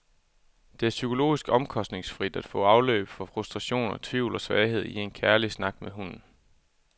Det er psykologisk omkostningsfrit at få afløb for frustrationer, tvivl og svagheder i en kærlig snak med hunden.